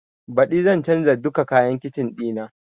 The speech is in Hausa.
Baɗi zan canza duka kayan kicin ɗina